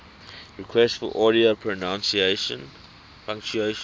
requests for audio pronunciation